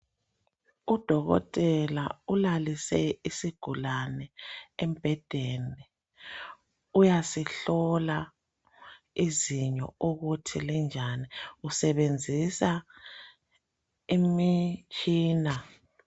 Udokotela ulalise isigulane embhedeni uyasihlola izinyo ukuthi linjani usebenzisa imitshina.